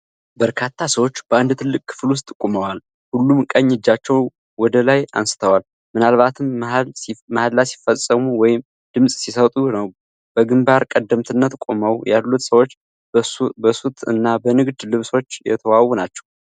በርካታ ሰዎች በአንድ ትልቅ ክፍል ውስጥ ቆመዋል፣ ሁሉም ቀኝ እጃቸውን ወደ ላይ አንስተዋል፤ ምናልባትም መሐላ ሲፈጽሙ ወይም ድምጽ ሲሰጡ ነው። በግንባር ቀደምትነት ቆመው ያሉት ሰዎች በሱት እና በንግድ ልብሶች የተዋቡ ናቸው።